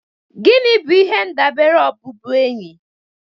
Gịnị bụ ihe ndabere ọbụbụenyi?